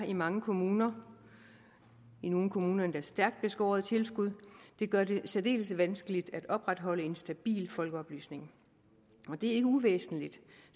i mange kommuner i nogle kommuner endda stærkt beskårede tilskud gør det særdeles vanskeligt at opretholde en stabil folkeoplysning og det er ikke uvæsentligt